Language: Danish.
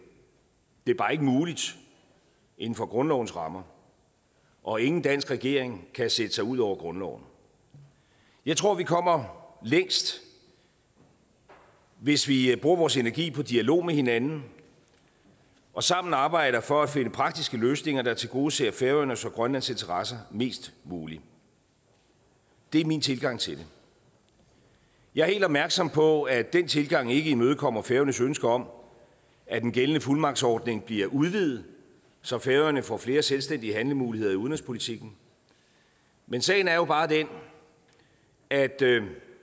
det er bare ikke muligt inden for grundlovens rammer og ingen dansk regering kan sætte sig ud over grundloven jeg tror vi kommer længst hvis vi bruger vores energi på dialog med hinanden og sammen arbejder for at finde praktiske løsninger der tilgodeser færøernes og grønlands interesser mest muligt det er min tilgang til det jeg er helt opmærksom på at den tilgang ikke imødekommer færøernes ønske om at den gældende fuldmagtsordning bliver udvidet så færøerne får flere selvstændige handlemuligheder i udenrigspolitikken men sagen er jo bare den at